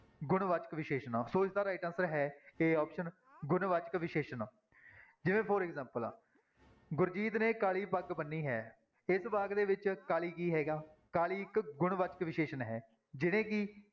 ਗੁਣਵਾਚਕ ਵਿਸ਼ੇਸ਼ਣ ਸੋ ਇਸਦਾ right answer ਹੈ a option ਗੁਣਵਾਚਕ ਵਿਸ਼ੇਸ਼ਣ ਜਿਵੇਂ for example ਗੁਰਜੀਤ ਨੇ ਕਾਲੀ ਪੱਗ ਬੰਨ੍ਹੀ ਹੈ, ਇਸ ਵਾਕ ਦੇ ਵਿੱਚ ਕਾਲੀ ਕੀ ਹੈਗਾ, ਕਾਲੀ ਇੱਕ ਗੁਣਵਾਚਕ ਵਿਸ਼ੇਸ਼ਣ ਹੈ ਜਿਹਨੇ ਕਿ